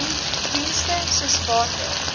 dienste soos water